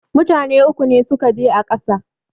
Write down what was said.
Mutane uku ne suka je a ƙasa